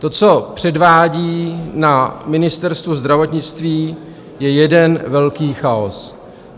To, co předvádí na Ministerstvu zdravotnictví, je jeden velký chaos.